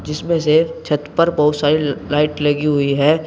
जिसमें से छत पर बहोत सारी लाइट लगी हुई है।